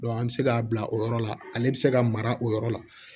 an bɛ se k'a bila o yɔrɔ la ale bɛ se ka mara o yɔrɔ la